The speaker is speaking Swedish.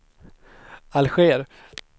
Alger